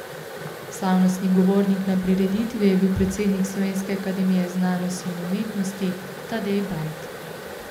Slavnostni govornik na prireditvi je bil predsednik Slovenske akademije znanosti in umetnosti Tadej Bajd.